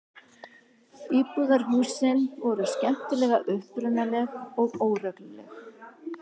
Íbúðarhúsin voru skemmtilega upprunaleg og óregluleg.